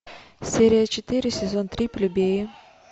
серия четыре сезон три плебеи